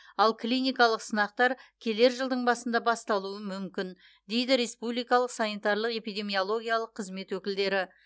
ал клиникалық сынақтар келер жылдың басында басталуы мүмкін дейді республикалық санитарлық эпидемиологиялық қызмет өкілдері